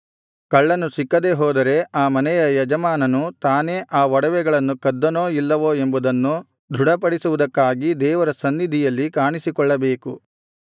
ಕಳ್ಳನು ಸಿಕ್ಕದೇ ಹೋದರೆ ಆ ಮನೆಯ ಯಜಮಾನನು ತಾನೇ ಆ ಒಡವೆಗಳನ್ನು ಕದ್ದನೋ ಇಲ್ಲವೋ ಎಂಬುದನ್ನು ದೃಢಪಡಿಸುವುದಕ್ಕಾಗಿ ದೇವರ ಸನ್ನಿಧಿಯಲ್ಲಿ ಕಾಣಿಸಿಕೊಳ್ಳಬೇಕು